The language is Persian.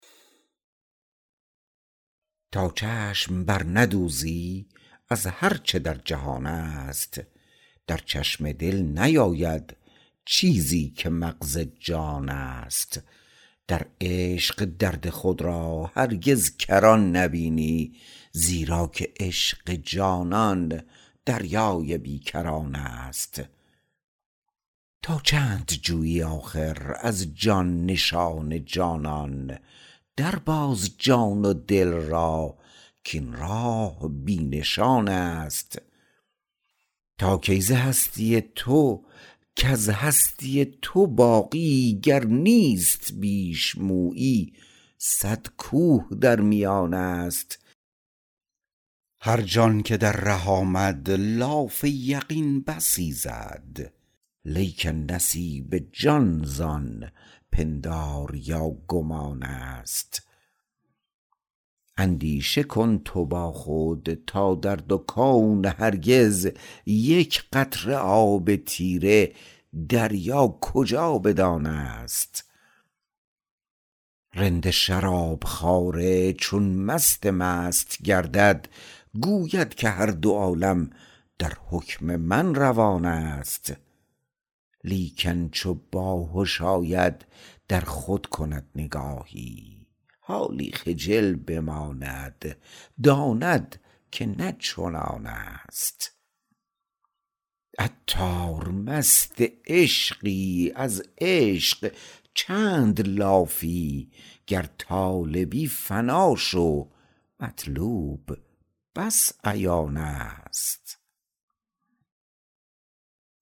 تا چشم برندوزی از هر چه در جهان است در چشم دل نیاید چیزی که مغز جان است در عشق درد خود را هرگز کران نبینی زیرا که عشق جانان دریای بی کران است تا چند جویی آخر از جان نشان جانان در باز جان و دل را کین راه بی نشان است تا کی ز هستی تو کز هستی تو باقی گر نیست بیش مویی صد کوه در میان است هر جان که در ره آمد لاف یقین بسی زد لیکن نصیب جان زان پندار یا گمان است اندیشه کن تو با خود تا در دو کون هرگز یک قطره آب تیره دریا کجا بدان است رند شراب خواره چون مست مست گردد گوید که هر دو عالم در حکم من روان است لیکن چو باهش آید در خود کند نگاهی حالی خجل بماند داند که نه چنان است عطار مست عشقی از عشق چند لافی گر طالبی فنا شو مطلوب بس عیان است